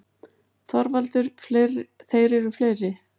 ÞORVALDUR: Þeir eru fleiri.